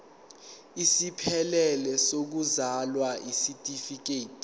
esiphelele sokuzalwa isitifikedi